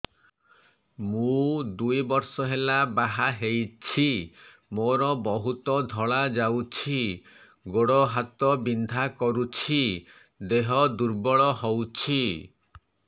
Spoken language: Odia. ମୁ ଦୁଇ ବର୍ଷ ହେଲା ବାହା ହେଇଛି ମୋର ବହୁତ ଧଳା ଯାଉଛି ଗୋଡ଼ ହାତ ବିନ୍ଧା କରୁଛି ଦେହ ଦୁର୍ବଳ ହଉଛି